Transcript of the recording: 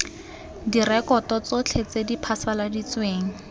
direkoto tsotlhe tse di phasaladitsweng